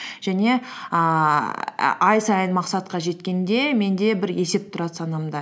және ііі ай сайын мақсатқа жеткенде менде бір есеп тұрады санамда